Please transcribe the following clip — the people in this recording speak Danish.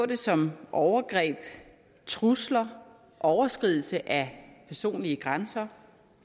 det som overgreb trusler overskridelse af personlige grænser